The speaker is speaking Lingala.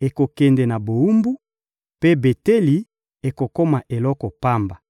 ekokende na bowumbu, mpe Beteli ekokoma eloko pamba.»